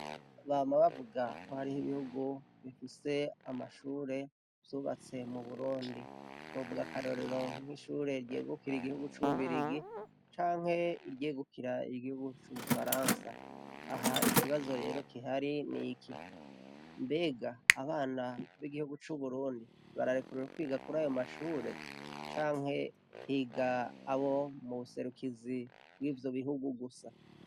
Ba mababwa kwo hariho ibihugu bifise amashure vyubatse mu burundi, buvwa akarorero nk'ishure ryegukira igihugu c'ububirigi canke iryegukira igihugu c'umufaransa, aha ikibazo rero kihari ni iki mbega abana b'igihugu c'uburundi bararekurura kwiga kuri ayo mashure canke higa abo mu buserukizi bw'ivyo bihugu gusa?.